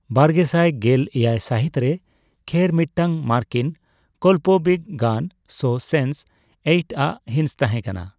ᱵᱟᱨᱜᱮᱥᱟᱭ ᱜᱮᱞ ᱮᱭᱟᱭ ᱥᱟᱹᱦᱤᱛ ᱨᱮ ᱠᱷᱮᱨ ᱢᱤᱫᱴᱟᱝ ᱢᱟᱨᱠᱤᱱ ᱠᱚᱞᱯᱚᱵᱤᱜᱽᱜᱟᱱ ᱥᱳ ᱥᱮᱱᱥ ᱮᱭᱤᱴ ᱟᱜ ᱦᱤᱸᱥ ᱛᱟᱦᱮᱸᱠᱟᱱᱟ ᱾